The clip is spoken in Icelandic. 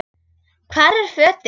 Hvar eru fötin?